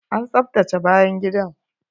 An tsaftace bayan gidan!